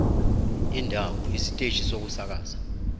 indawo isiteshi sokusakaza